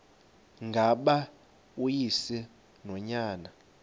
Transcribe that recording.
ngaba uyise nonyana